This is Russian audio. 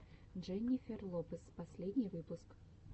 дженнифер лопес последний выпуск